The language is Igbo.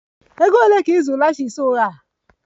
Ego ole ka ị zụrụ lashes ụgha?